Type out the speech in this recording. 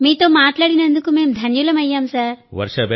మీతో మాట్లాడినందుకు మేం ధన్యులమయ్యాం సార్